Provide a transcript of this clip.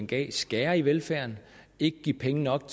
gav skære i velfærden ikke give penge nok